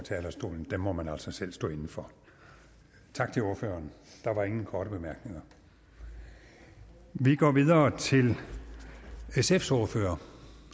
talerstolen må man altså selv stå inde for tak til ordføreren der er ingen korte bemærkninger vi går videre til sfs ordfører